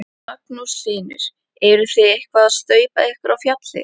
Magnús Hlynur: Eruð þið eitthvað að staupa ykkur á fjalli?